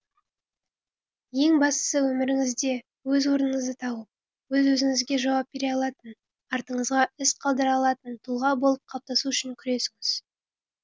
ең бастысы өміріңізде өз орныңызды тауып өз өзіңізге жауап бере алатын артыңызға із қалдыра алатын тұлға болып қалыптасу үшін күресіңіз